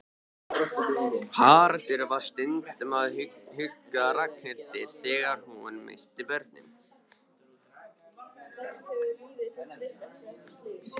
Haraldur var stundum að hugga Ragnhildi þegar hún missti börnin.